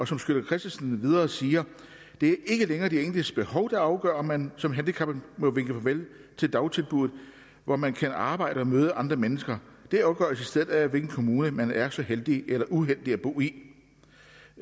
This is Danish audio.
som sytter kristensen videre siger det er ikke længere de enkeltes behov der afgør om man som handicappet må vinke farvel til dagtilbuddet hvor man kan arbejde og møde andre mennesker det afgøres i stedet af hvilken kommune man er så heldig eller uheldig at bo i